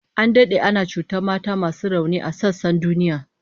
An dade ana cutar da mata masu rauni a sassan duniya